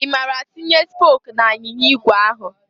I mara a tinye spok n'anyịnya igwe ahụ?